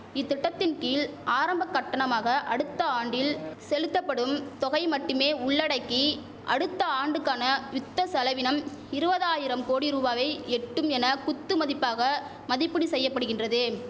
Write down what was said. இத்திட்டத்தின் கீழ் ஆரம்ப கட்டணமாக அடுத்த ஆண்டில் செலுத்தப்படும் தொகையை மட்டுமே உள்ளடக்கி அடுத்த ஆண்டுக்கான யுத்த செலவினம் இருவதாயிரம் கோடி ரூவாவை எட்டும் என குத்துமதிப்பாக மதிப்பீடு செய்யபடுகின்றது